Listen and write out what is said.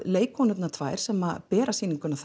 leikkonurnar tvær sem bera sýninguna